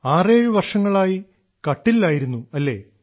ആറേഴു വർഷങ്ങളായി കട്ടിലിലായിരുന്നു അല്ലേ